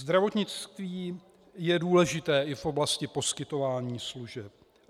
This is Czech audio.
Zdravotnictví je důležité i v oblasti poskytování služeb.